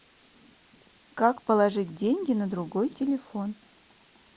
как положить деньги на другой телефон